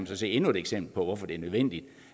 så se endnu et eksempel på hvorfor det er nødvendigt